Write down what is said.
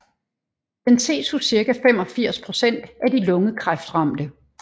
Den ses hos cirka 85 procent af de lungekræftramte